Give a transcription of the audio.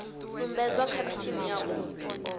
sumbedzwa kha mitshini ya u